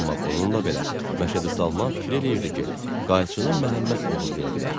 Amma bununla belə, Məşədi Salman fikir eləyirdi ki, qayçını Məhəmməd oğurlaya bilər.